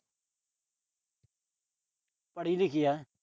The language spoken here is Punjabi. ਪੜ੍ਹੀ ਲਿਖੀ ਆ।